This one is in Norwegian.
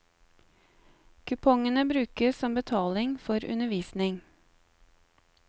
Kupongene brukes som betaling for undervisning.